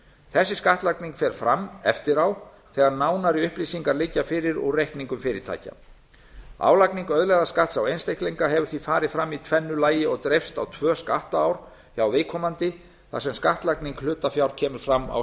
þessi skattlagning fer fram eftir á þegar nánari upplýsingar liggja fyrir úr reikningum fyrirtækja álagning auðlegðarskatts á einstaklinga hefur því farið fram í tvennu lagi og dreifst á tvö skattár hjá viðkomandi þar sem skattlagning hlutafjár kemur fram á